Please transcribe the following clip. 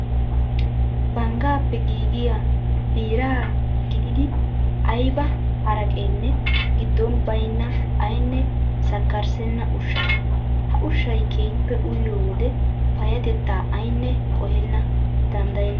Banggaappe giigiyaa biiraa gidiiddi ayiba haraqeenne giddon bayinna ayinne sakkarissenna ushshaa. Ha ushshayi keehippe uyiyoo wode payyatettaa ayinne qohena danddayenna.